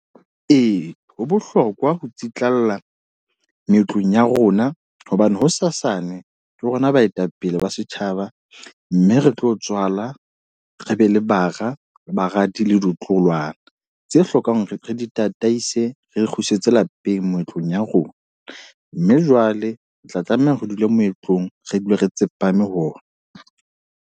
Ee, ho bohlokwa ho itsitlalla meetlong ya rona. Hobane ho sasane ke rona baetapele ba setjhaba. Mme re tlo tswala re be le bara, baradi le ditloholwana. Tse hlokang hore re di tataise. Re kgusitse lapeng moetlong ya rona. Mme jwale o tla tlameha hore re dule moetlong, re dule re tsepame ho ona.